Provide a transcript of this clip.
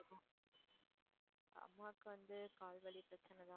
அம்மாக்கு வந்து கால் வலி பிரச்சனை தான்.